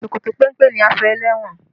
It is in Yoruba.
Ṣòkòtò péńpé ni aṣọ ẹlẹ́wọ̀n